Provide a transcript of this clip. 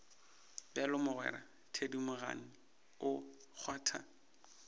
bjalo mogwera thedimogane o kgwatha